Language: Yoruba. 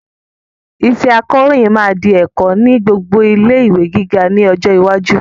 Iṣẹ́ akọròyìn máa di ẹ̀kọ́ ni gbogbo ilé-ìwé gíga ni ọjọ́ iwájú